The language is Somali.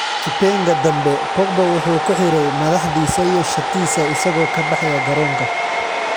Kipenga dambe, Pogba wuxuu ku xidhay madaxdiisa iyo shatiisa isagoo ka baxaya garoonka.